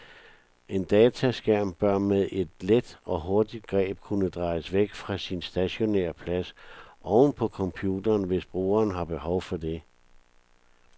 En dataskærm bør med et let og hurtigt greb kunne drejes væk fra sin stationære plads oven på computeren, hvis brugeren har behov for det.